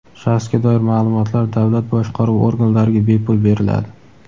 Shaxsga doir maʼlumotlar davlat boshqaruvi organlariga bepul beriladi.